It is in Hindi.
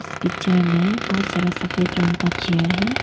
इस पिक्चर में बहोत सारा सफेद रंग का चेयर है।